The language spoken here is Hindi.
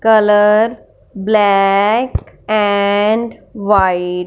colour black and white --